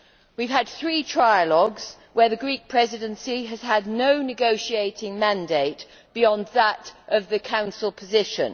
We have had three trialogues, where the Greek Presidency has had no negotiating mandate beyond that of the Council position.